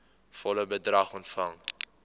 volle bedrag ontvang